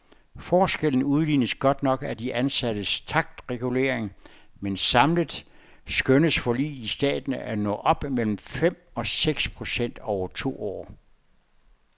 Forskellen udlignes godt nok af de ansattes taktregulering, men samlet skønnes forliget i staten at nå op mellem fem og seks procent over to år.